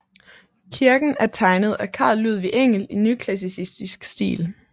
Kirken er tegnet af Carl Ludvig Engel i nyklassicistisk stil